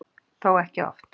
Þó ekki oft.